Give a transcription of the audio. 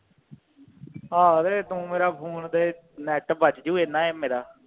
ਆਹੋ ਤੇ ਤੂੰ ਮੇਰਾ ਫੋਨ ਤੇ ਨੈੱਟ ਬਚ ਜੂ ਇਹਨਾਂ ਈ ਮੇਰਾ